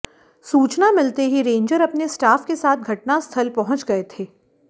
सूचना मिलते ही रेंजर अपने स्टाफ के साथ घटना स्थल पहुच गए थे